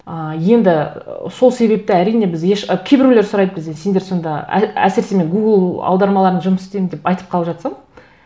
ыыы енді сол себепті әрине біз еш і кейбіреулер сұрайды бізден сендер сонда әсіресе мен гугл аудармаларын жұмыс істеймін деп айтып қалып жатсам